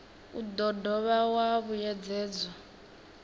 u do dovha wa vhuyedzedzwa